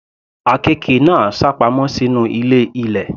Àkekè náà sápamọ́ sínú ilé ilẹ̀.